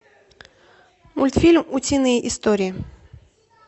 мультфильм утиные истории